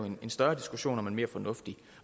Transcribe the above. en større diskussion om en mere fornuftig